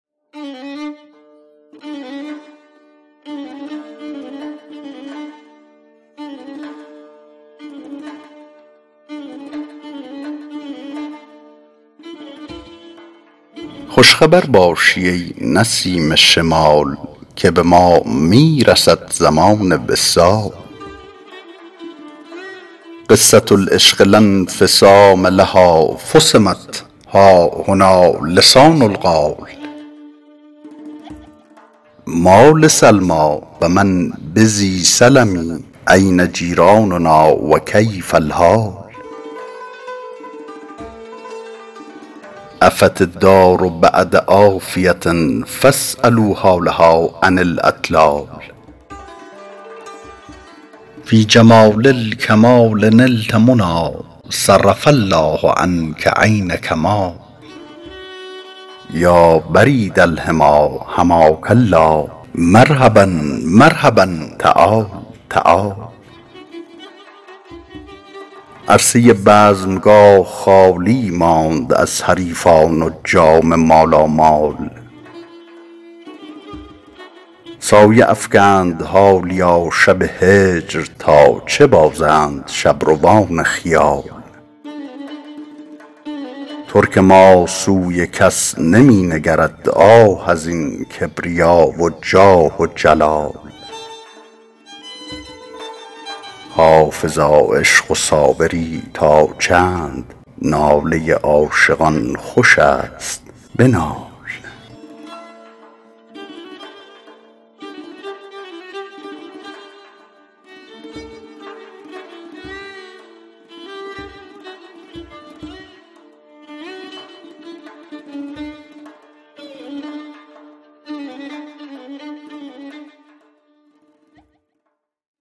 خوش خبر باشی ای نسیم شمال که به ما می رسد زمان وصال قصة العشق لا انفصام لها فصمت ها هنا لسان القال ما لسلمی و من بذی سلم أین جیراننا و کیف الحال عفت الدار بعد عافیة فاسألوا حالها عن الاطلال فی جمال الکمال نلت منی صرف الله عنک عین کمال یا برید الحمی حماک الله مرحبا مرحبا تعال تعال عرصه بزمگاه خالی ماند از حریفان و جام مالامال سایه افکند حالیا شب هجر تا چه بازند شبروان خیال ترک ما سوی کس نمی نگرد آه از این کبریا و جاه و جلال حافظا عشق و صابری تا چند ناله عاشقان خوش است بنال